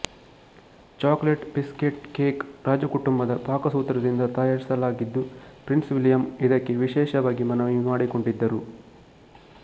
chocolate biscuit cake ರಾಜಕುಟುಂಬದ ಪಾಕಸೂತ್ರದಿಂದ ತಯಾರಿಸಲಾಗಿದ್ದು ಪ್ರಿನ್ಸ್ ವಿಲಿಯಂ ಇದಕ್ಕೆ ವಿಶೇಷವಾಗಿ ಮನವಿ ಮಾಡಿಕೊಂಡಿದ್ದರು